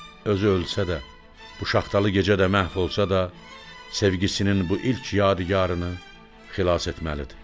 Özü ölsə də, bu şaxtalı gecədə məhv olsa da, sevgisinin bu ilk yadigarı xilas etməlidir.